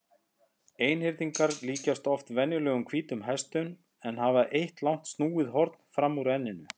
Einhyrningar líkjast oft venjulegum hvítum hestum en hafa eitt langt snúið horn fram úr enninu.